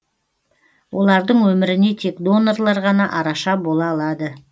олардың өміріне тек донорлар ғана араша бола алады